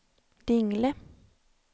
Dingle